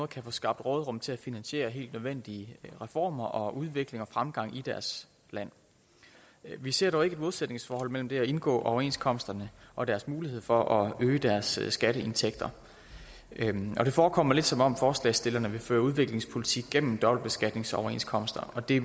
kan få skabt råderum til at finansiere helt nødvendige reformer og udvikling og fremgang i deres land vi ser dog ikke et modsætningsforhold mellem det at indgå overenskomsterne og deres mulighed for at øge deres skatteindtægter og det forekommer lidt som om forslagsstillerne vil føre udviklingspolitik gennem dobbeltbeskatningsoverenskomster og det